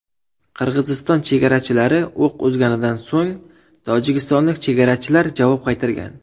Qirg‘iziston chegarachilari o‘q uzganidan so‘ng tojikistonlik chegarachilar javob qaytargan.